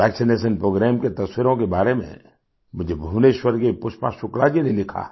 vaccination program की तस्वीरों के बारे में मुझे भुवनेश्वर की पुष्पा शुक्ला जी ने लिखा है